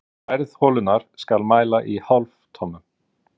Stærð holunnar skal mæla í hálftommum.